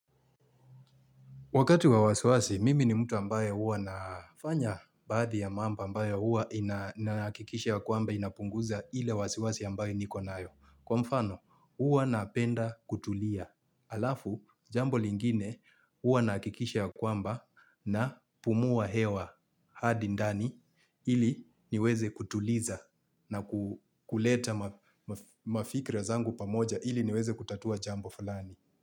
Wakati wa wasiwasi, mimi ni mtu ambaye huwa nafanya baadhi ya mambo ambayo huwa inahakikisha kwamba inapunguza hile wasiwasi ambaye nikonayo. Kwa mfano, huwa napenda kutulia. Alafu, jambo lingine huwa nahakikisha kwamba na pumua hewa hadi ndani ili niweze kutuliza na kuleta mafikira zangu pamoja ili niweze kutatua jambo fulani.